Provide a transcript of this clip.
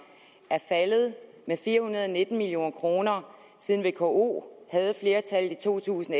er faldet med fire hundrede og nitten million kr siden vko havde flertallet i to tusind